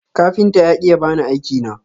Kafinta ya ki ya bani aiki na.